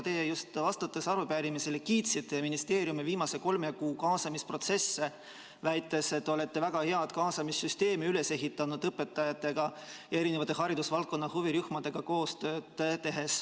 Teie just vastates arupärimisele kiitsite ministeeriumi viimase kolme kuu kaasamisprotsesse, väites, et te olete väga hea kaasamissüsteemi üles ehitanud, tehes koostööd õpetajatega ja haridusvaldkonna huvirühmadega.